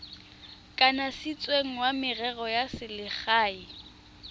kanisitsweng wa merero ya selegae